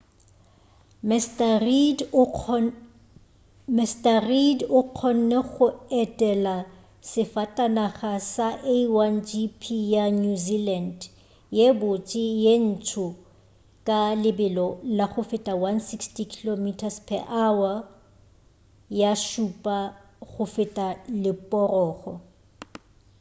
mr reid o kgonne go otlela safatanaga ya a1gp ya new zealand ye botse ye ntsho ka lebelo la go feta 160km/h ga šupa go feta leporogo